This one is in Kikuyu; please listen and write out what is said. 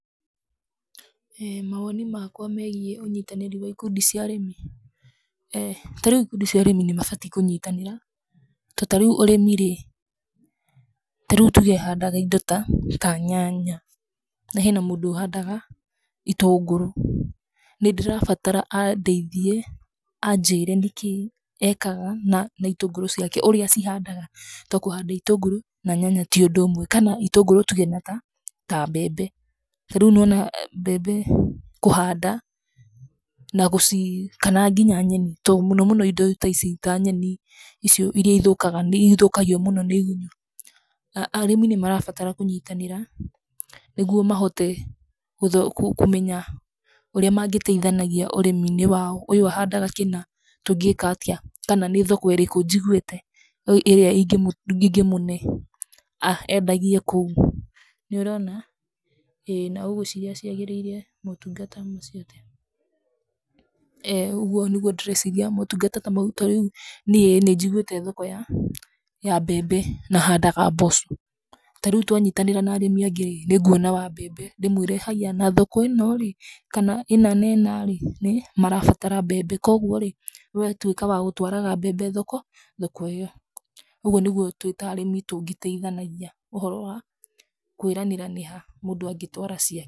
Mawoni makwa megiĩ ũnyitanĩri wa ikundi cia arĩmi, tarĩu ikundi cia arĩmi nĩ mabatiĩ kũnyitanĩra. Tondũ ta rĩu ũrimi rĩ , ta rĩu tũge handaga indo ta ta nyanya. Na hena mũndũ ũhadaga itũngũrũ, nĩndĩrabatara andeithie anjĩre nĩkĩ ekaga na itũngũrũ ciake. Ũrĩa acihandaga tondũ kũhanda itũngũrũ na nyanya ti ũndũ ũmwe. Kana itũngũrũ tuge na ta mbembe, ta rĩu nĩwona mbembe kũhanda ,kana nginya nyeni, tondũ mũno mũno indo ici ta nyeni iria ithũkaga nĩithũkagio mũno nĩigũnyũ.Arĩmi nĩmarabatara kũnyitanĩra, nĩguo mahote kũmenya ũrĩa mangĩteithagia ũrĩmiinĩ wao. Ũyũ ahandaga kĩna tũngika atĩa, kana nĩ thoko ĩrĩkũ njiguĩte, ĩrĩa ĩngĩmũnee endagie kũu. nĩũronaa ĩĩ na ugwĩciria ciagĩrĩire motungata macio atĩa? uguo nĩguo ndĩreciria motungata ta Mau. Ta rĩu niĩ nĩnjiguĩte thoko ya mbembe, na handaga mboco, tarĩu twanyitanĩra na arĩmi angĩ nĩnguona wa mbembe. Ndĩmwĩre harĩ na thoko ĩno rĩu, kana ĩna na ĩna rĩu ,nĩmarabatara mbembe , koguo rĩ wee tuĩka wa gũtwaraga mbembe thoko ĩyo. Ũguo nĩguo twĩ ta arĩmi ,tũngĩteithanagia ũhoro wa kwĩranĩra nĩ ha, mũndũ angĩtwara ciake.